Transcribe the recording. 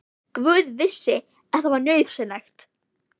Guð vissi að það var nauðsynlegt.